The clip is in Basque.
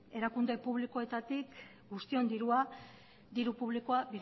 erakunde publikoetatik guztion diru publikoa